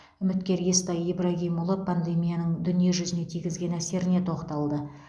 үміткер естай ибрагимұлы пандемияның дүниежүзіне тигізген әсеріне тоқталды